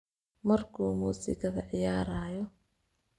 Markuu musikadha ciyarayo.